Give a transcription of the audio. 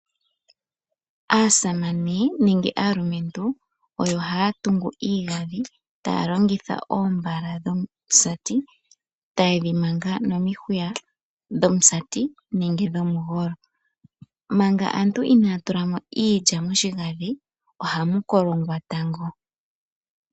Aasamane nenge aalumentu oyo haa tungu iigandhi taa longitha oombala dhomusati taye dhi manga nomihuya dhomusati nenge dhomugolo, manga aantu inaa tula mo iilya moshigadhi ohamu kolongwa tango.